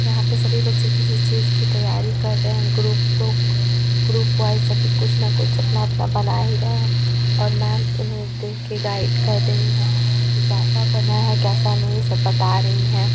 यहाँ पे सभी बच्चे किसी चीज की तैयारी कर रहें हैं ग्रुप लोग ग्रुप वाइस सभी कुछ ना कुछ अपना-अपना बना ही रहें हैं और मैम इन्हें देखकर गाइड ही कर रही हैं कि केेसा बना है कैसा नहीं सब बता रही हैं।